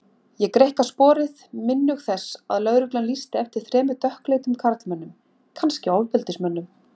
Ég greikka sporið, minnug þess að lögreglan lýsti eftir þremur dökkleitum karlmönnum, kannski ofbeldismönnum.